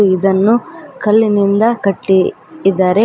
ಇದನ್ನು ಕಲ್ಲಿನಿಂದ ಕಟ್ಟಿ ಇದ್ದಾರೆ ಮತ್--